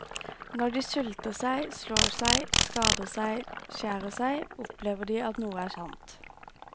Når de sulter seg, slår seg, skader seg, skjærer seg, opplever de at noe er sant.